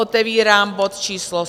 Otevírám bod číslo